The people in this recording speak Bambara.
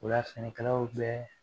O la sɛnɛkalaw bɛ